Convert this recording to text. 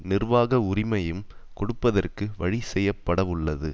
நிர்வாக உரிமையும் கொடுப்பதற்கு வழிசெய்யப்படவுள்ளது